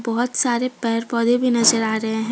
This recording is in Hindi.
बहुत सारे पेड़ पौधे भी नजर आ रहे हैं।